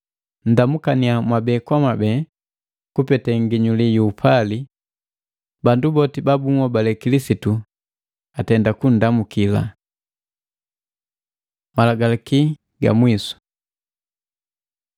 Nndamukania mwabe kwa mwabee kupete nginyuli yu upali. Bandu boti ba bunhobale Kilisitu atenda kunndamuki. Malagalaki ga mwisu